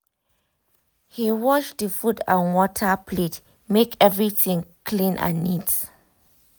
he wash the food and water plate make everything clean and neat